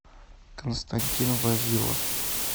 константин вавилов